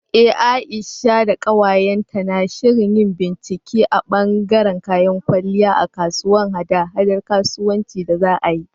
Eh Aisha da ƙawayenta na shirin yin bincike a ɓangaren kayan kwalliya a kasuwar haɗa-haɗar kasuwanci da za a yi.